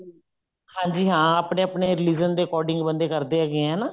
ਹਾਂਜੀ ਹਾਂ ਆਪਨੇ ਆਪਨੇ religion ਦੇ according ਬੰਦੇ ਕਰਦੇ ਹੈਗੇ ਹੈ ਹਨਾ